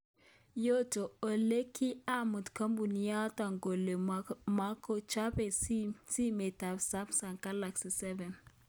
Yoto ole kii amuan kampuninoto kole makochobe simet ab Sumsung Kalaksi 7